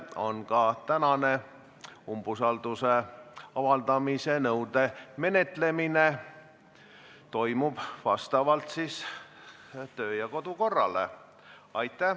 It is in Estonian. Ka tänane umbusalduse avaldamise nõude menetlemine toimub vastavalt kodu- ja töökorrale.